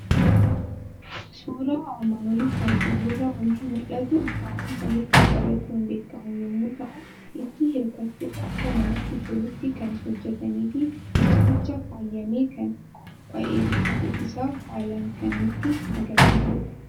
Suuraa armaan olitti argamu irraa waanti mul'atu; taa'umsa hirkoo qabachuun beekamu yommuu ta'u, itti hirkachuuf akka namatti tolutti kan hojjetamefi teessumichi faayamee kan qopha'eru ta'u isaa haalan kan nutti Agarsiisudha.